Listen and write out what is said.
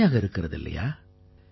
அருமையாக இருக்கிறது இல்லையா